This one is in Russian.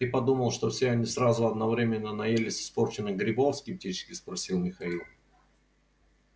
ты подумал что все они сразу одновременно наелись испорченных грибов скептически спросил михаил